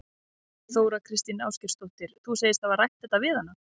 Þóra Kristín Ásgeirsdóttir: Þú segist hafa rætt þetta við hana?